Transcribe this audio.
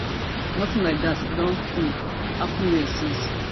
nothing like dat don um happun hia since